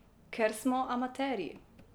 Ker smo amaterji.